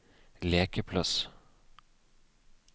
lekeplass